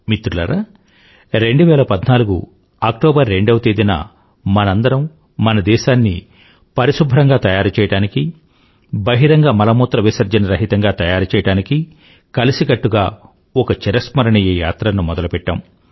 మిత్రులారా 2014 అక్టోబర్ రెండవ తేదీన మనందరము మన దేశాన్ని పరిశుభ్రంగా తయారుచెయ్యడానికీ బహిరంగ మలమూత్రవిసర్జన రహితంగా తయారుచెయ్యడానికి కలిసికట్టుగా ఒక చిరస్మరణియ యాత్రను మొదలుపెట్టాము